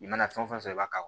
I mana fɛn fɛn sɔrɔ i b'a ka